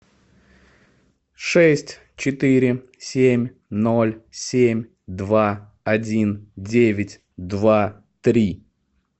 шесть четыре семь ноль семь два один девять два три